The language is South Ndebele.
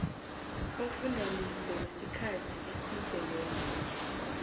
umfundalize wesikhathi esizeleko